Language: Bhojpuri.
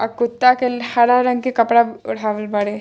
और कुत्ता के हरा रंग के कपड़ा ओढ़ावल बाड़े।